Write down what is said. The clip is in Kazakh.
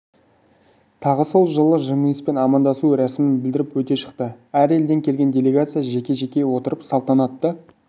тағы сол жылы жымиыспен амандасу рәсімін білдіріп өте шықты әр елден келген делегация жеке-жеке отырып салтанатты